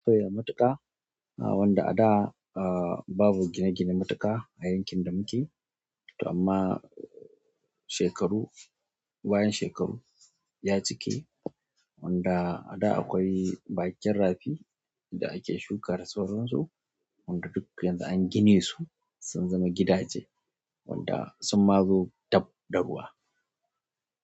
Akwai matuƙa wanda ada, ah, babu gine-gine matuƙa a yankin da muke, to amma shekaru bayan shekaru ya cike wanda a da akwai bakin rafi da ake shuka da sauran su, wanda duk yanzu an gine su sun zama gidaje. Wanda sun ma zo dab da ruwa.